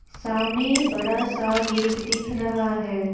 सामने बड़ा सा गेट दिख रहा है।